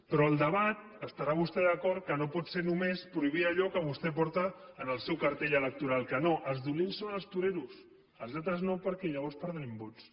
però el debat deu estar vostè d’acord que no pot ser només prohibir allò que vostè porta en el seu cartell electoral que no els dolents són els toreros els altres no perquè llavors perdrem vots